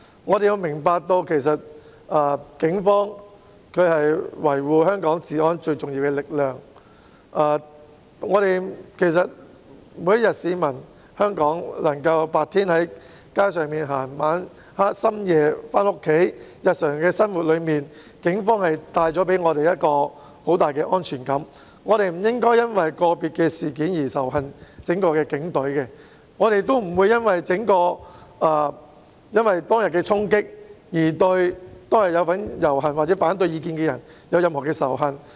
我們要明白，其實警隊是維護香港治安的最重要力量，香港市民白天能夠在街上行走，在深夜回家，全賴警隊在日常生活中為我們帶來很大的安全感，我們不應因為個別的事件而仇恨整支警隊，正如我們亦不會因為當日的衝擊行為而對參與遊行或持反對意見的人抱持任何仇恨。